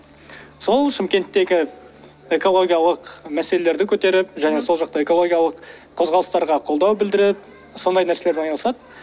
сол шымкенттегі экологиялық мәселелерді көтеріп және сол жақта экологиялық қозғалыстарға қолдау білдіріп сондай нәрселермен айналысады